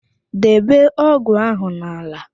Debe ógụ̀ ahụ n'ala!